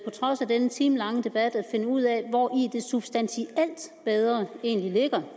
trods af denne timelange debat at finde ud af hvori det substantielt bedre egentlig ligger